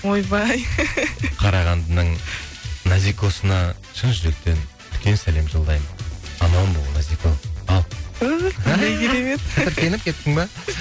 ойбай қарағандының назикосына шын жүректен үлкен сәлем жолдаймын аман бол назико ал